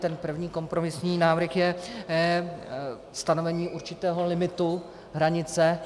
Ten první kompromisní návrh je stanovení určitého limitu, hranice.